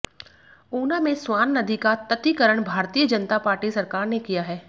ऊना में स्वान नदी का तत्तिकरण भारतीय जनता पार्टी सरकार ने किया है